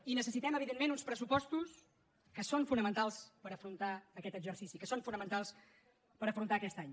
i necessitem evidentment uns pressupostos que són fonamentals per afrontar aquest exercici que són fonamentals per afrontar aquest any